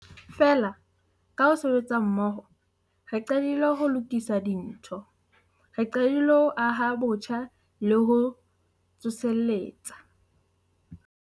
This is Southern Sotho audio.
Feela, ka ho sebetsa mmoho, re qadile ho lokisa dintho. Re qadile ho aha botjha le ho tsoseletsa.